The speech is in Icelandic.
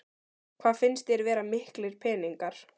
Hvað finnst þér vera miklir peningar?